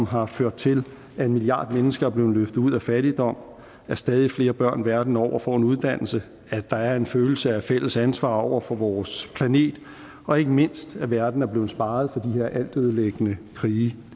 har ført til at en milliard mennesker er blevet løftet ud af fattigdom at stadig flere børn verden over får en uddannelse at der er en følelse af fælles ansvar over for vores planet og ikke mindst at verden er blevet sparet for her altødelæggende krige